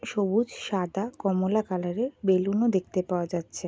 সবুজ সাদা কমলা কালারের বেলুন ও দেখতে পাওয়া যাচ্ছে।